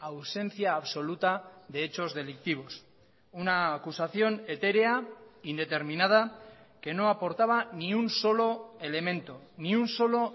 ausencia absoluta de hechos delictivos una acusación etérea indeterminada que no aportaba ni un solo elemento ni un solo